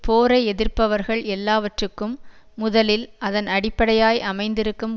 போரை எதிர்ப்பவர்கள் எல்லாவற்றுக்கும் முதலில் அதன் அடிப்படையாய் அமைந்திருக்கும்